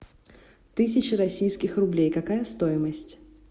тысяча российских рублей какая стоимость